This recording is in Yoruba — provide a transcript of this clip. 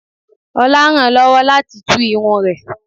Olá rán lọ́wọ́ láti tú irun rẹ̀